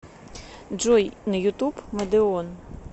джой на ютуб мадеон